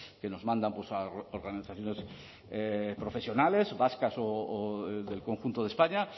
que nos mandan organizaciones profesionales vascas o del conjunto de españa